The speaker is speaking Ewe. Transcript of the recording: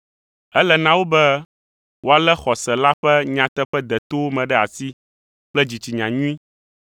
Ele na wo be woalé xɔse la ƒe nyateƒe detowo me ɖe asi kple dzitsinya nyui.